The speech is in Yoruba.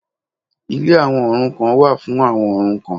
Ilé àwọn òrukàn wà fún àwọn òrukàn